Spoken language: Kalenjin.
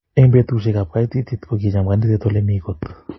Eng betusiek ab kaititiet kokicham kaniset ole mi kot